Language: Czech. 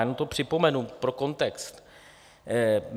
Jenom to připomenu pro kontext.